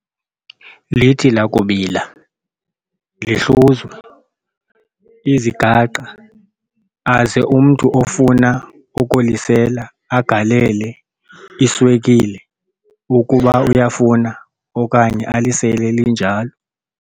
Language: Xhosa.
Lithi lakubila lihluzwe, izigaqa aze umntu ofuna ukulisela agalele iswekile ukuba uyafuna okanye alisele linjalo.